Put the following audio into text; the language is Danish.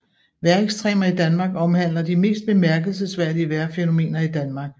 Vejrekstremer i Danmark omhandler de mest bemærkelsesværdige vejrfænomener i Danmark